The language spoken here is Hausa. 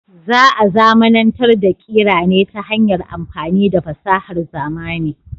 Za a zamanantar da kira ne ta hanyar amfani da fasahar zamani.